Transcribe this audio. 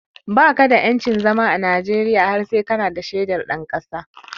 Baka da yancin zama a Najeriya har sai kana da shaidar ɗan ƙasa